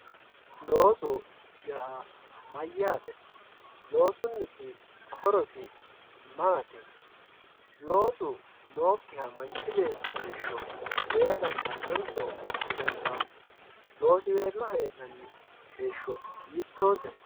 Looso yaa mayate, loosuniti horosi maati, manchi beeti loosu nookiha heera dandanoniso didandano, loosiweello heenanni heesho hiitote